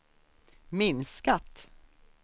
minskat